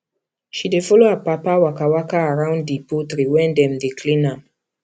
she dey follow her papa waka waka around the poultry when dem dey clean am